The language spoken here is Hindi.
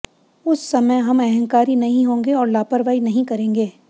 उस समय हम अंहकारी नहीं होंगे और लापरवाही नहीं करेंगे